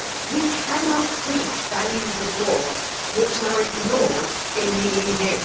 We cannot preach values abroad which are ignored in the EU.